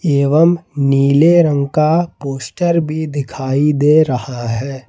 एवं नीले रंग का पोस्टर भी दिखाई दे रहा है।